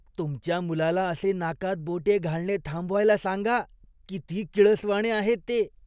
तुमच्या मुलाला असे नाकात बोटे घालणे थांबवायला सांगा. किती किळसवाणे आहे ते.